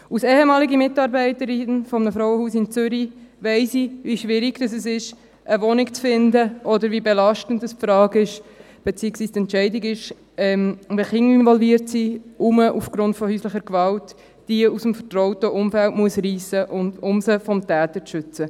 – Als ehemalige Mitarbeiterin eines Frauenhauses in Zürich weiss ich, wie schwierig es ist, eine Wohnung zu finden, oder wie belastend die Frage, beziehungsweise die Entscheidung ist, wenn Kinder involviert sind, die man aufgrund von häuslicher Gewalt aus ihrem vertrauten Umfeld reissen muss, um sie vor dem Täter zu schützen.